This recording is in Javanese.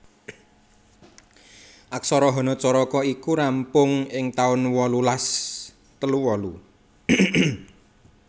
Aksara hanacaraka iki rampung ing taun wolulas telu wolu